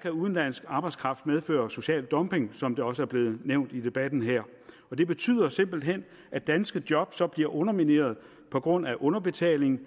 kan udenlandsk arbejdskraft medføre social dumping som det også er blevet nævnt i debatten her og det betyder simpelt hen at danske job så bliver undermineret på grund af underbetaling